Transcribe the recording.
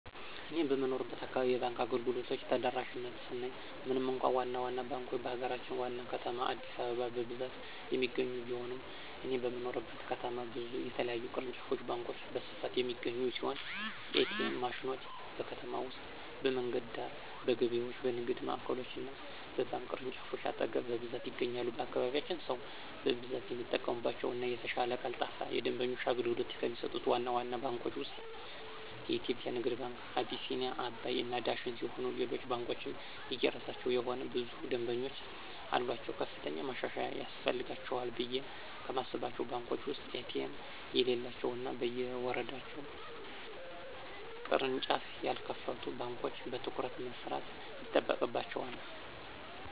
እኔ በምኖርበት አካባቢ የባንክ አገልግሎቶች ተደራሽነት ስናይ ምንም እንኳ ዋና ዋና ባንኮች በሀገራችን ዋና ከተማ አዲስአበባ በብዛት የሚገኙ ቢሆንም እኔ በምኖርበት ከተማ ብዙ የተለያዩ ቅርንጫፍ ባንኮች በስፋት የሚገኙ ሲሆን: ኤ.ቲ.ኤም ማሽኖች: በከተማ ውስጥ በመንገድ ዳር፣ በገበያዎች፣ በንግድ ማዕከሎች እና በባንክ ቅርንጫፎች አጠገብ በብዛት ይገኛሉ። በአካባቢያችን ሰው በብዛት የሚጠቀምባቸው እና የተሻለ ቀልጣፋ የደንበኞች አገልግሎት ከሚሰጡት ዋና ዋና ባንኮች ውስጥ (የኢትዮጽያ ንግድ ባንክ፣ አቢሲኒያ፣ አባይ እና ዳሽን ሲሆኑ ሌሎች ባንኮችም የየራሳቸው የሆነ ብዙ ደምበኞች አሉአቸው። ከፍተኛ ማሻሻያ ያስፈልጋቸዋል ብየ ከማስባቸው ባንኮች ውስጥ ኤ.ቲ.ኤም የሌላቸው እና በየወረዳው ቅርንጫፍ ያልከፈቱ ባንኮች በትኩረት መስራት ይጠበቅባቸዋል።